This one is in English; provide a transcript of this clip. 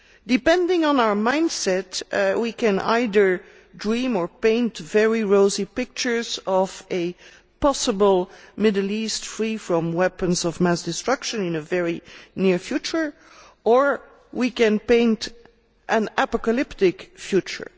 Depending on our mindset we can either dream or paint very rosy pictures of a possible Middle East free from weapons of mass destruction in a very near future, or we can paint an apocalyptic future.